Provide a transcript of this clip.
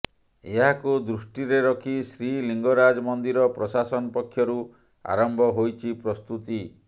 ଏହାକୁ ଦୃଷ୍ଟିରେ ରଖି ଶ୍ରୀଲିଙ୍ଗରାଜ ମନ୍ଦିର ପ୍ରଶାସନ ପକ୍ଷରୁ ଆରମ୍ଭ ହୋଇଛି ପ୍ରସ୍ତୁତି